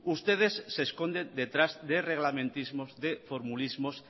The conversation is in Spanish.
ustedes se esconden detrás de reglamentismos de formulismos